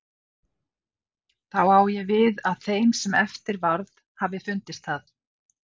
Þá á ég við, að þeim sem eftir varð hafi fundist það.